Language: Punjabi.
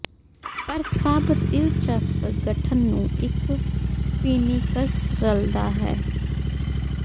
ਪਰ ਸਭ ਦਿਲਚਸਪ ਗਠਨ ਨੂੰ ਇੱਕ ਫੀਨਿਕ੍ਸ ਰਲਦਾ ਹੈ